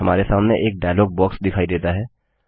हमारे सामने एक डायलॉग बॉक्स दिखाई देता है